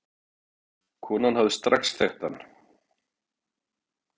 Konan hefði strax þekkt hann.